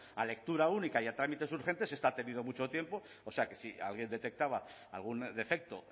a lectura única y a trámites urgentes esta ha tenido mucho tiempo o sea que si alguien detectaba algún defecto